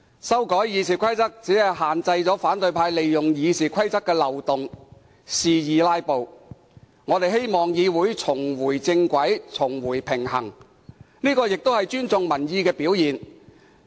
修改《議事規則》只是限制反對派利用《議事規則》的漏洞肆意"拉布"，我們希望議會重回正軌，回復平衡，這也是尊重民意的表現。